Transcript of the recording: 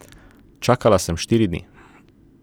Čakala sem štiri dni.